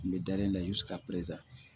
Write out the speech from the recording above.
N bɛ dalen da i sigi ka pezɛri